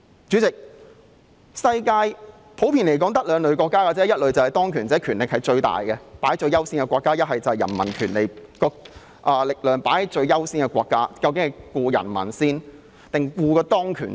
主席，世界上普遍只有兩類國家，一類是當權者權力最大、最優先的國家，而另一類則是人民權力最優先的國家，究竟要先顧及人民抑或先顧及當權者呢？